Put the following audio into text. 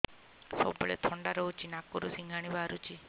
ସବୁବେଳେ ଥଣ୍ଡା ରହୁଛି ନାକରୁ ସିଙ୍ଗାଣି ବାହାରୁଚି